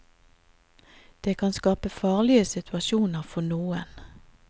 Det kan skape farlige situasjoner for noen.